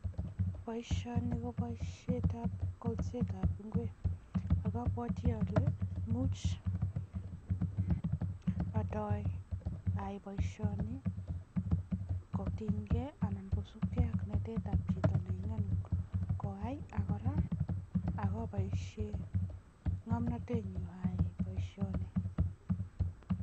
Boisioni ko boisietab kolsetab ingwek ako abwoti ale much atoi ayai boisioni kotinykei anan kosupkei ak naetab chito ne ingeen koyai kora akopoishe ngomnotenyu ayai boisioni.